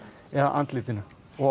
eða andlitinu